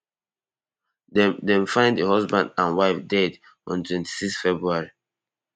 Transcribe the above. dem dem find di husband and wife dead on twenty-six february